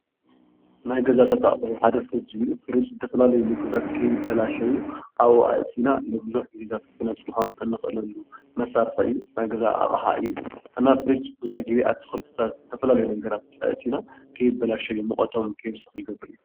ናይ ገዛታት ኣቕሑ ሓደ ፊሪጅ ዝተፈላለዩ ምግብታት ከይበላሸው ኣብኡ ኣእቲና ንብዙሕ ጊዜታት ክነፅሖም እንኽእለሉ መሳርሒ እዩ። ናይ ገዛ ኣቕሓ እዩ። እና ፊሪጅ ብዙሕ ጊዜ ኣትክልትታት ዝተፈላለዩ ነገራት ኣእቲና ከይበላሸዩ ሙቆቶም ከይውስኽ ይገብር እዩ።